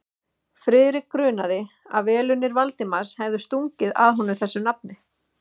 Friðrik grunaði, að velunnari Valdimars hefði stungið að honum þessu nafni.